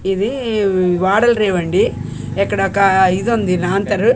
ఇది వాడల రేవ్ అండి ఇక్కడ ఒక ఇదుంది లాంతరు.